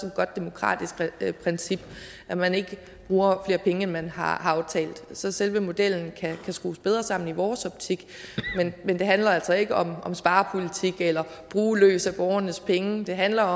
et godt demokratisk princip at man ikke bruger flere penge end man har aftalt selve modellen kan så skrues bedre sammen i vores optik men det handler altså ikke om sparepolitik eller at bruge løs af borgernes penge det handler